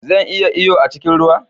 Zan iya iyo a cikin ruwa?